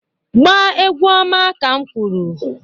Gba-egwu ọma ka m kwuru!